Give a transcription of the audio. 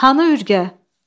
Hanı ürgə?